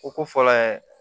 O ko fɔlɔ yɛrɛ